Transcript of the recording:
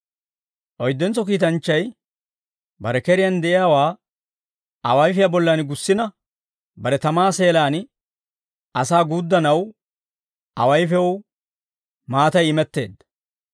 Oyddentso kiitanchchay bare keriyaan de'iyaawaa awayfiyaa bollan gussina bare tamaa seelaan asaa guuddanaw, awayfew maatay imetteedda.